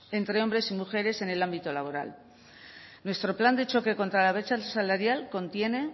entre hombres y mujeres en el ámbito laboral nuestro plan de choque contra la brecha salarial contiene